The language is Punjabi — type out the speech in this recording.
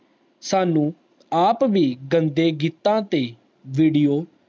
ਸਾਨੂੰ ਆਪ ਵੀ ਗੰਦੇ ਗੀਤ ਤੇ video